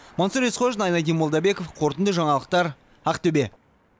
мансұр есқожин айнадин молдабеков қорытынды жаңалықтар ақтөбе